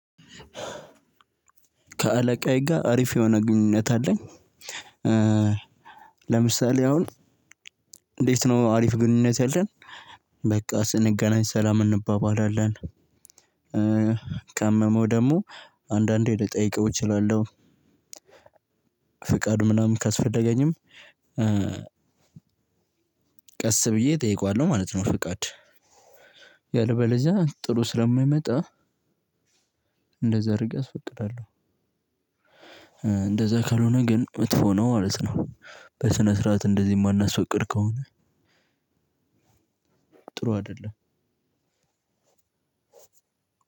ከአለቃዬ ጋር አሪፍ የሆነ ግንኙነት አለኝ። ለምሳሌ አሁን እንዴት ነው አሪፍ ግንኙነት ያለን? በቃ ስንገናኝ ሰላም እንባባላለን። ካመመው ደግሞ አንዳንዴ ልጠይቀው እችላለሁ። ፍቃድ ምናምን ካስፈለገኝም ቀስ ብዬ እጠይቀዋለሁ ማለት ነው። ፍቃድ ያለበለዚያ ጥሩ ስለማይመጣ እንደዛ አርጌ አስፈቅዳለሁ። እንደዛ ካልሆነ ግን መጥፎ ነው ማለት ነው። በስነ ስርዓት እንደዚህ ማናስፈቅድ ከሆነ ጥሩ አይደለም።